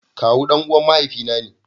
Kawu danuwan mahaifi na ne.